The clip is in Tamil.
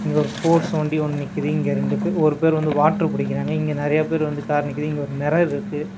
இங்க ஒரு போர் செவேன்டி ஒன் நிக்குது இங்க இரண்டு பேர் ஒரு பேர் வந்து வாட்டர் புடிக்கிறாங்க இங்க நெறைய பேர் வந்து கார் நிக்கிது இங்க வந்து ஒரு மெரர்ருக்கு .